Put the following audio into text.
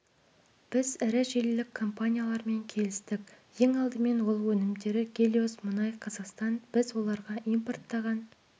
біз ірі желілік команиялармен келістік ең алдымен ол өнімдері гелиос мұнай қазақстан біз оларға импорттаған